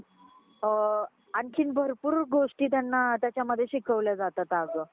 अ आणखी भरपूर गोष्टी त्यांना त्याच्यामध्ये शिकवल्या जातात अगं.